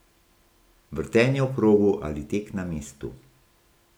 Vrtenje v krogu ali tek na mestu.